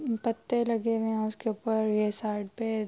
پتے لگے ہوئے ہے۔ اسکے اپر یہ سائیڈ پی--